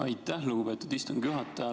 Aitäh, lugupeetud istungi juhataja!